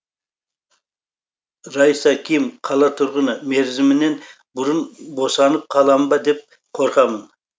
раиса ким қала тұрғыны мерзімінен бұрын босанып қаламын ба деп қорқамын